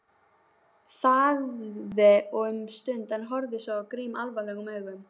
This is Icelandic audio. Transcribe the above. Þagði um stund en horfði svo á Grím alvarlegum augum.